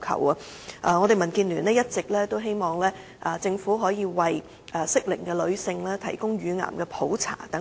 民主建港協進聯盟一直希望政府能夠為適齡女性提供乳癌普查。